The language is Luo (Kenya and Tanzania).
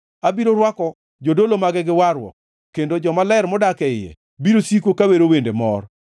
Abiro rwako jodolo mage gi warruok kendo jomaler modak e iye biro siko ka wero wende mor.